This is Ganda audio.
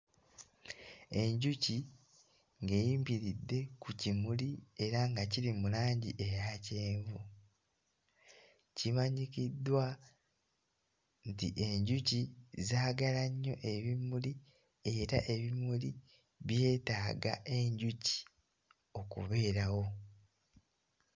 Enjuki ng'eyimbiridde ku kimuli era nga kiri mu langi eya kyenvu. Kimanyikiddwa nti enjuki zaagala nnyo ebimuli era ebimuli byetaaga enjuki okubeerawo.